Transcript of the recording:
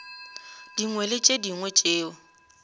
dingwe le tše dingwe tšeo